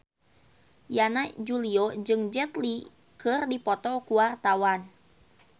Yana Julio jeung Jet Li keur dipoto ku wartawan